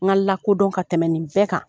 N ka la kodɔn ka tɛmɛ in bɛɛ kan.